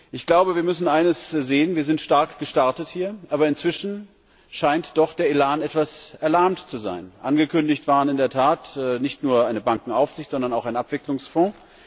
Ich glaube, wir müssen eines sehen Wir sind stark gestartet hier, aber inzwischen scheint doch der Elan etwas erlahmt zu sein. Angekündigt waren in der Tat nicht nur eine Bankenaufsicht, sondern auch ein Abwicklungsfonds.